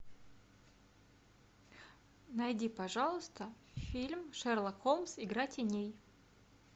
найди пожалуйста фильм шерлок холмс игра теней